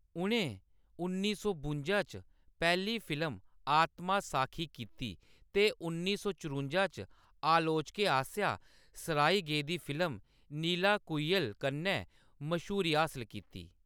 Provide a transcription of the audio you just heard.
उʼनें उन्नी सौ बुंजा च पैह्‌ली फिल्म आत्मासाखी कीती ते उन्नी सौ चरुंजा च आलोचकें आसेआ सराही गेदी फिल्म नीलाकुयिल कन्नै मश्हूरी हासल कीती।